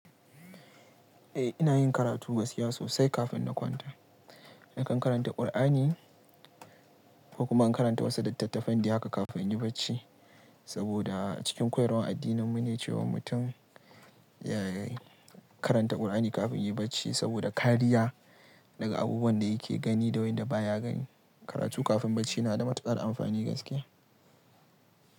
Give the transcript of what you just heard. Eh ina yin karatu gaskiya sosai kafin na kwanta. Nakan karanta Kur'ani, ko kuma in karanta wasu littattafan dai haka kafin in yi barci. Saboda cikin koyarwar addininmu ne cewa mutum ya karanta Kur'ani kafin ya yi barci saboda kariya daga abubuwan da yake gani da waɗanda baya gani. Karatu kafin barci na da matuƙar amfani gaskiya.